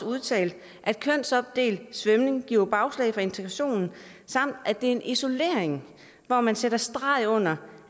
udtalt at kønsopdelt svømning giver bagslag for integrationen samt at det er en isolering hvor man sætter streg under